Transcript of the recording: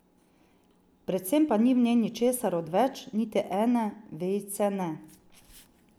Predvsem pa ni v njej ničesar odveč, niti ene vejice, ne.